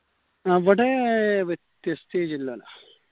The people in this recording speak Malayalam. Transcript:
അവിടെ മറ്റേ stage ഇല്ലല്ലാ